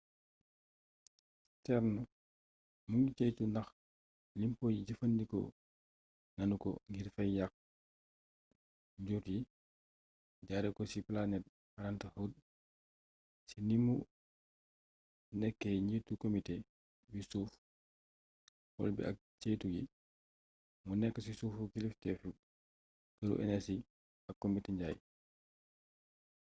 stearns mu ngi ceytu ndax limpo yi jëffandikoo nanu ko ngir fay yàkk njur yi jaare ko ci planned parenthood ci ni mu nekkee njiitu komite bi suuf xool bi ak ceytu gi mu nekk ci suufu kilifteteef këru enersi ak komite njaay